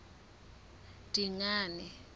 dingane